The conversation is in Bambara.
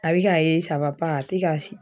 A be k'a ye sawa pa a te ka se